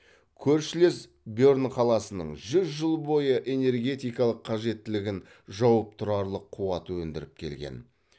көршілес берн қаласының жүз жыл бойы энергетикалық қажеттілігін жауып тұрарлық қуат өндіріп келген